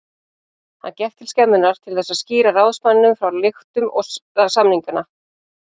Hann gekk til skemmunnar til þess að skýra ráðsmanninum frá lyktum samninganna.